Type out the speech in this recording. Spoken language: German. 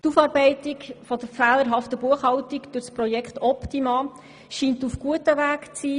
Die Aufarbeitung der fehlerhaften Buchhaltung durch das Projekt Optima scheint auf gutem Weg zu sein.